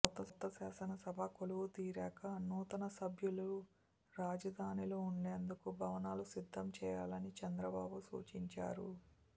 కొత్త శాసనసభ కొలువుదీరాక నూతన సభ్యులలు రాజధానిలో ఉండేందుకు భవనాలు సిద్ధం చేయాలని చంద్రబాబు సూచించారు